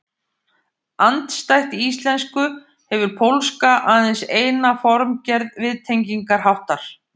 Andstætt íslensku hefur pólska aðeins eina formgerð viðtengingarháttar.